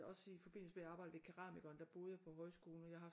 Også i forbindelse med at jeg arbejdede ved keramikeren der boede jeg på højskolen og jeg har